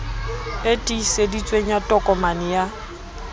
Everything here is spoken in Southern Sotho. e tiiseditsweng ya tokomane ya